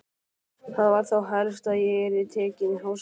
Það var þá helst að ég yrði tekin í háskóla!